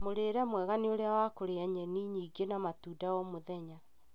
Mũrĩre mwega nĩ ũrĩa wa kũrĩa nyeni nyingĩ na matunda o mũthenya.